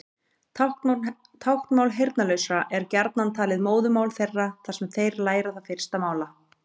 Táknmál heyrnarlausra er gjarnan talið móðurmál þeirra þar sem þeir læra það fyrst mála.